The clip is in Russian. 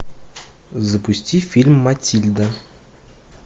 запусти фильм матильда